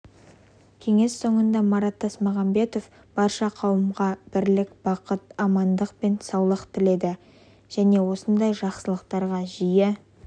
кеңес соңында марат тасмағанбетов барша қауымға бірлік бахыт амандық пен саулық тіледі және осындай жақсылықтарға жиі